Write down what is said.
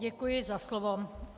Děkuji za slovo.